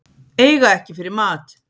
Eiga ekki fyrir mat